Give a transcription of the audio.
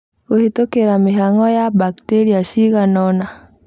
kũhetũkĩra mĩhang'o ya bakteria ciganona